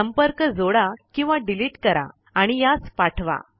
संपर्क जोडा किंवा डिलीट करा आणि यास पाठवा